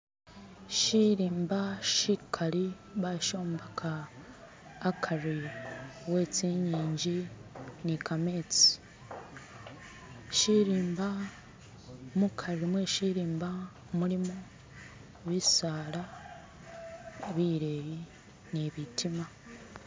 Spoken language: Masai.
shi'limba shi'kali basho'mbeka a'kari wetsi'nyinji nika'metsi shi'rimba, mu'kari mwe'shirimba mulimu bi'saala bi'leyi ni bi'tima